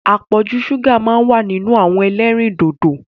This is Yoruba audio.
Apọ̀jù ṣúgà máa ń wà nínú àwọn ẹlẹ́rìndòdò.